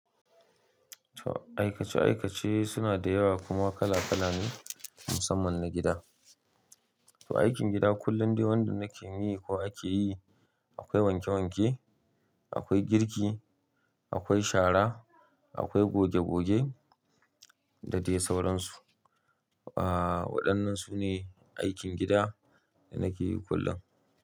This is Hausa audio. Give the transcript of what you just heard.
Aikace aikace suna da yawa kuma kala kala ne musamman na gida. To aikin gida kullum dai wanda nake yi ko ake yi, akwai wanke wanke, akwai girki, akwai shara, akwai goge goge da dai sauransu. Ah wadannan sune aikin gida da nake yi kullum.